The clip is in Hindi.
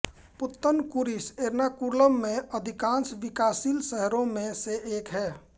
पुत्तन्कुरिश एर्नाकुलम में अधिकांश विकासशील शहरों में से एक है